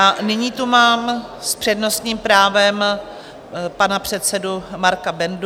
A nyní tu mám s přednostním právem pana předsedu Marka Bendu.